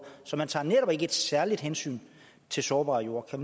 så man tager netop ikke et særligt hensyn til sårbare jorder kan